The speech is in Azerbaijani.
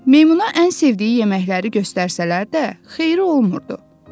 Meymuna ən sevdiyi yeməkləri göstərsələr də, xeyri olmurdu.